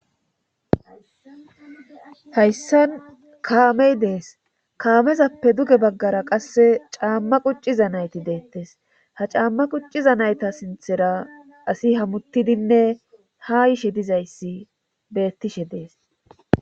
hayssan kaamey dees kaamezappe duge baggara qasse caamma qucciza nayti deettes ha caamma qucciza nayta sinthera asi hammuttidinne ha ishe dizayssi bettishe dees